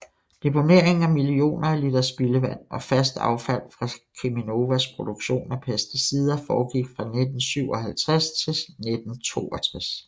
Deponeringen af millioner af liter spildevand og fast affald fra Cheminovas produktion af pesticider foregik fra 1957 til 1962